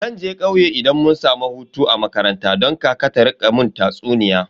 Zan je kauye idan mun samu hutu a makaranta don kaka ta rika mun tatsuniya.